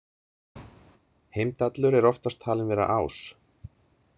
Heimdallur er oftast talinn vera ás.